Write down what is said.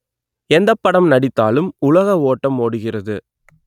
எந்தப் படம் நடித்தாலும் உலக ஓட்டம் ஓடுகிறது